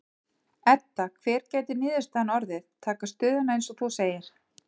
Edda: Hver gæti niðurstaðan orðið, taka stöðuna eins og þú segir?